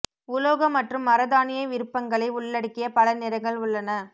உலோக மற்றும் மர தானிய விருப்பங்களை உள்ளடக்கிய பல நிறங்கள் உள்ளன